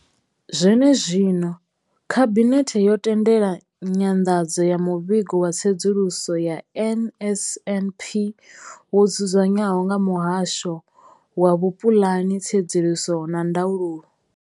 Zwenezwino, khabinethe yo tendela nyanḓadzo ya muvhigo wa tsedzuluso ya NSNP wo dzudzanywaho nga muhasho wa hupuḽani, tsedzuluso na ndaulo.